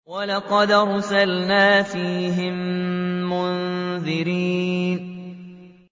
وَلَقَدْ أَرْسَلْنَا فِيهِم مُّنذِرِينَ